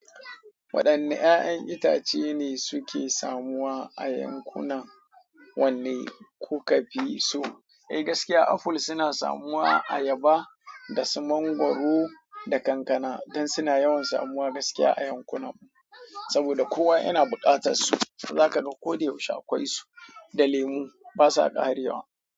Waɗanne ƴaƴan itace ne suke samuwa a yankunan wanne kuka fi so? Eh, gaskiya aful suna samuwa, ayaba da su mangwaro da kankana dan suna yawan samuwa gaskiya a yankunan mu saboda kowa yana buƙatar su. Zaka ga ko da yaushe akwai su da lemu basa ƙarewa.